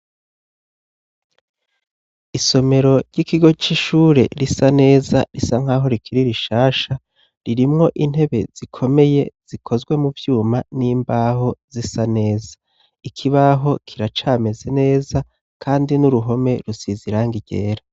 isomero ry'ikigo c'ishure risa neza, risa nk'aho rikiri rishasha. Ririmwo intebe zikomeye zikozwe mu vyuma, n'imbaho zisa neza, ikibaho kiracameze neza kandi n'uruhome rusize irangi ryera.